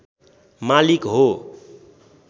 मालिक हो